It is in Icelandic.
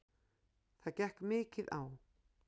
Það gekk mikið á.